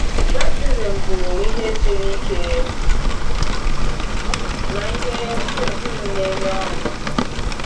Baptizim bụ ma ihe siri ike ma ihe um um na-enye ọṅụ.